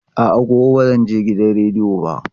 A'a, gobe ba zan je gidan rediyo ba.